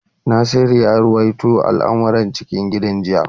Nasiru ya ruwaito al’amuran cikin gida jiya.